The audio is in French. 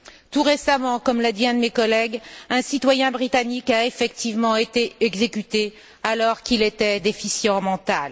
Tout récemment, comme l'a dit un de mes collègues, un citoyen britannique a effectivement été exécuté, alors qu'il était déficient mental.